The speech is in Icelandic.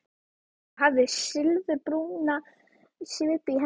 Þú hafðir silfurbúna svipu í hendinni.